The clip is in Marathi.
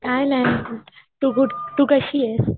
काय नाय गुड, टू गुड तू कशीयेस?